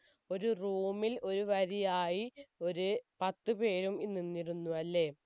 ഒരു room ൽ ഒരു വരിയായി ഒരു പത്തു പേരും നിന്നിരുന്നു അല്ലെ